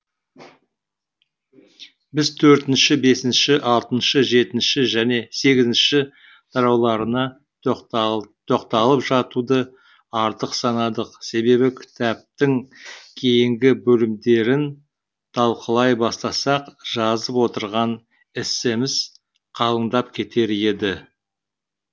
біз төртінші бесінші алтыншы жетінші және сегізінші тарауларына тоқталып жатуды артық санадық себебі кітаптың кейінгі бөлімдерін талқылай бастасақ жазып отырған эссеміз қалыңдап кетер еді